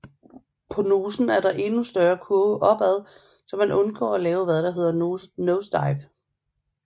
På nosen er der en endnu større kurve op ad så man undgår at lave hvad der hedder et nosedive